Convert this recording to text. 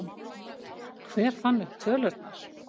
Hver fann upp tölurnar?